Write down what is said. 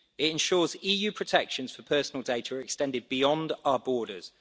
It ensures EU protections for personal data extended beyond our borders.